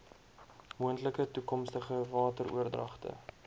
moontlike toekomstige wateroordragte